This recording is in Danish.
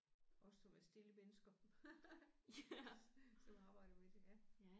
Også som er stille mennesker også som arbejder med det ja